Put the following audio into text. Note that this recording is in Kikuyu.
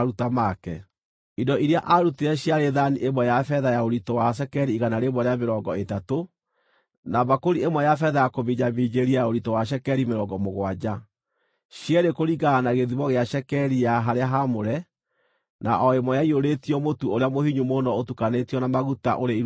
Indo iria aarutire ciarĩ thaani ya betha ya ũritũ wa cekeri igana rĩa mĩrongo ĩtatũ, na mbakũri ĩmwe ya betha ya kũminjaminjĩria ya ũritũ wa cekeri mĩrongo mũgwanja, cierĩ kũringana na gĩthimo gĩa cekeri ya harĩa haamũre, na o ĩmwe ĩiyũrĩtio mũtu ũrĩa mũhinyu mũno ũtukanĩtio na maguta, ũrĩ iruta rĩa mũtu;